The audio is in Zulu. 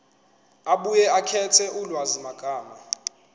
abuye akhethe ulwazimagama